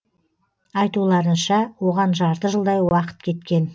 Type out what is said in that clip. айтуларынша оған жарты жылдай уақыт кеткен